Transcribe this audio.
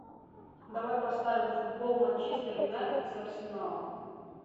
давай поставим футбол манчестер юнайтед с арсеналом